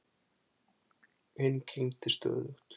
Hinn kyngdi stöðugt.